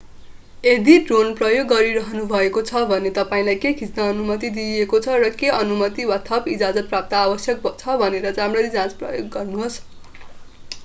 यदि ड्रोन प्रयोग गरिरहनु भएको छ भने तपाईंलाई के खिच्न अनुमति दिइएको छ र के अनुमति वा थप इजाजतपत्र आवश्यक छ भनेर राम्ररी जाँच गर्नुहोस्